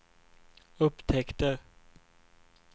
upptäckte